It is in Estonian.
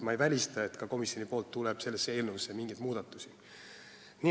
Ma ei välista, et ka komisjon teeb sellesse eelnõusse mingeid muudatusi.